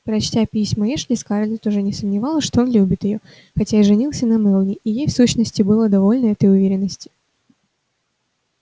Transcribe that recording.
прочтя письма эшли скарлетт уже не сомневалась что он любит её хотя и женился на мелани и ей в сущности было довольно этой уверенности